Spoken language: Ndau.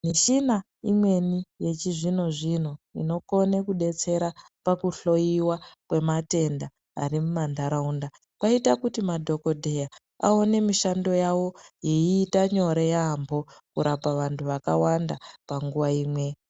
Mishina imweni yechizvino-zvino ,inokone kudetsera pakuhloiwa kwematenda ari mumantaraunda, kwaita kuti madhokodheya, aone mishando yavo, yeiita nyore yaampho ,kurapa vantu vakawanda ,panguwa imwe.